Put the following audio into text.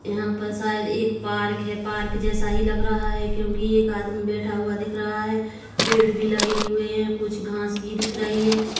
यहाँ पर शायद एक पार्क है पार्क जैसा ही लग रहा है क्योंकि एक आदमी बैठा हुआ दिख रहा है पेड़ भी लगे हुए है कुछ घास भी दिख रही है।